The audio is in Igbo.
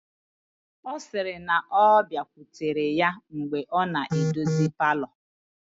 Ọ sịrị na ọ bịakwutere ya mgbe ọ na-edozi palọ